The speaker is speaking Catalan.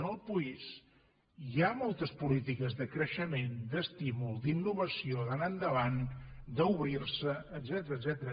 en el país hi ha moltes polítiques de creixement d’estímul d’innovació d’anar endavant d’obrir se etcètera